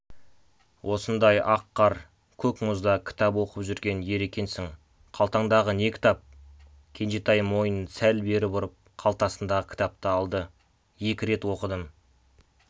осындай ақ қар көк мұзда кітап оқып жүрген ер екенсің қалтаңдағы не кітап кенжетай мойнын сәл бері бұрып калтасындағы кітапты алды екі рет оқыдым